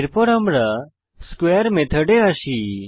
এরপর আমরা স্কোয়ারে মেথডে আসি